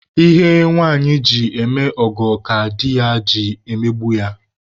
Ihe nwanyị ji eme ọgọ ka di ji emegbu ya